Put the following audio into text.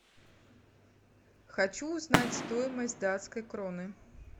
хочу узнать стоимость датской кроны